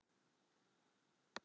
Sóla mín.